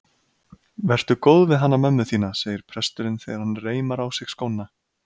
Vertu góð við hana mömmu þína, segir presturinn þegar hann reimar á sig skóna.